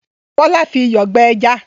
Bọ́lá fi iyọ̀ gbẹ ẹja?